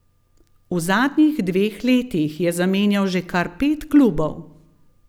V zadnjih dveh letih je zamenjal že kar pet klubov.